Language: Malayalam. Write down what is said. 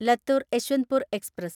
ലത്തൂർ യശ്വന്ത്പൂർ എക്സ്പ്രസ്